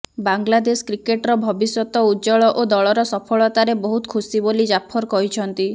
ବାଂଲାଦେଶ କ୍ରିକେଟର ଭବିଷ୍ୟତ ଉଜ୍ଜ୍ୱଳ ଓ ଦଳର ସଫଳତାରେ ବହୁତ ଖୁସି ବୋଲି ଜାଫର କହିଛନ୍ତି